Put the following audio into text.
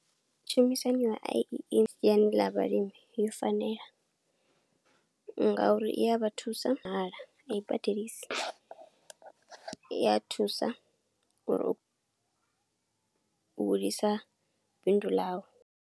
Tshumisano ya siani ḽa vhalimi yo fanela, ngauri iya vha thusa nga mahala, a i badelisi. I ya thusa uri u hulisa bindu ḽau.